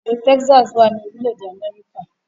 ilú Texas wá ní orílé èdè Améríkà